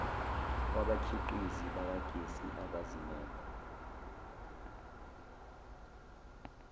kwabakhiqizi bakagesi abazimele